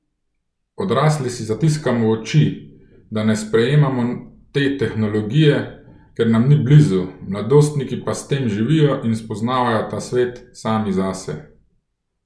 Odrasli si zatiskamo oči, da ne sprejemamo te tehnologije, ker nam ni blizu, mladostniki pa s tem živijo in spoznavajo ta svet sami zase.